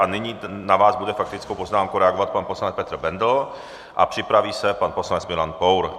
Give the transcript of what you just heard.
A nyní na vás bude faktickou poznámkou reagovat pan poslanec Petr Bendl a připraví se pan poslanec Milan Pour.